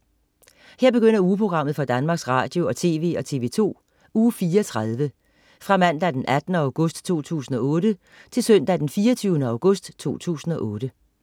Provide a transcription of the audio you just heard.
Her begynder ugeprogrammet for Danmarks Radio- og TV og TV2 Uge 34 Fra Mandag den 18. august 2008 Til Søndag den 24. august 2008